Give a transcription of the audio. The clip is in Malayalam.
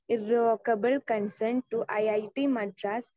സ്പീക്കർ 2 ഇറോവോക്കബിൽ consult I I T Madras